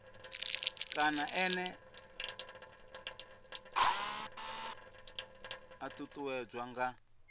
kana ene a ṱuṱuwedzwa nga